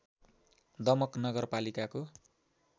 दमक नगरपालिकाको